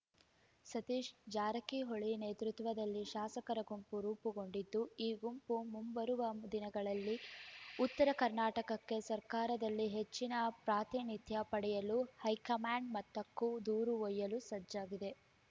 ಸತೀಶ್‌ ಜಾರಕಿಹೊಳಿ ನೇತೃತ್ವದಲ್ಲಿ ಶಾಸಕರ ಗುಂಪು ರೂಪುಗೊಂಡಿದ್ದು ಈ ಗುಂಪು ಮುಂಬರುವ ದಿನಗಳಲ್ಲಿ ಉತ್ತರ ಕರ್ನಾಟಕಕ್ಕೆ ಸರ್ಕಾರದಲ್ಲಿ ಹೆಚ್ಚಿನ ಪ್ರಾತಿನಿಧ್ಯ ಪಡೆಯಲು ಹೈಕಮಾಂಡ್‌ ಮಟ್ಟಕ್ಕೂ ದೂರು ಒಯ್ಯಲು ಸಜ್ಜಾಗಿದೆ